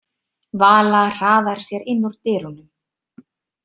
Vala hraðar sér inn úr dyrunum.